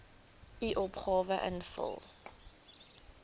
u opgawe invul